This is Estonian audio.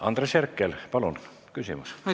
Andres Herkel, palun küsimus!